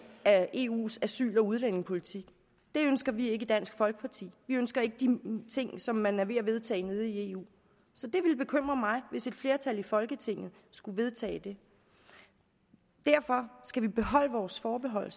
af eus asyl og udlændingepolitik det ønsker vi ikke i dansk folkeparti vi ønsker ikke de ting som man er ved at vedtage i eu så det ville bekymre mig hvis et flertal i folketinget skulle vedtage det derfor skal vi beholde vores forbehold